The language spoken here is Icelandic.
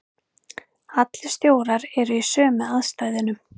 Allir stjórar eru í sömu aðstæðunum.